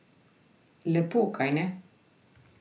Lepo, kajne?